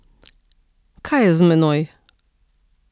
Kaj je z menoj?